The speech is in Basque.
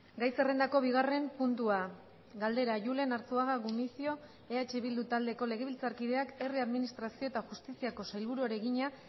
gai zerrendako bigarren puntua galdera julen arzuaga gumuzio eh bildu taldeko legebiltzarkideak herri administrazio eta justiziako sailburuari egina